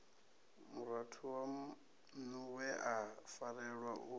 murathu waṋuwe a farelwa u